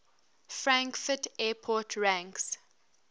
frankfurt airport ranks